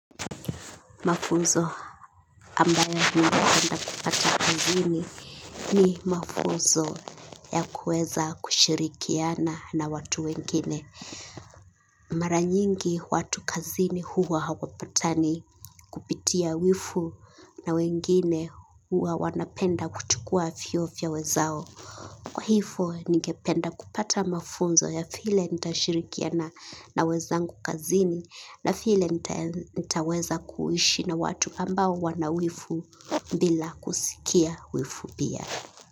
Mafunzo ambayo ningependa kupata kazini ni mafunzo ya kuweza kushirikiana na watu wengine. Mara nyingi watu kazini huwa hawapatani kupitia wivu na wengine huwa wanapenda kuchukua vio ya wenzao. Kwa hivo ningependa kupata mafunzo ya vile nitashirikiana wenzangu kazini na vile nitaweza kuishi na watu ambao wana wivu bila kusikia wivu pia.